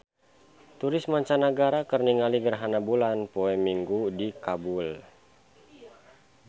Turis mancanagara keur ningali gerhana bulan poe Minggon di Kabul